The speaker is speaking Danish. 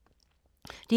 DR K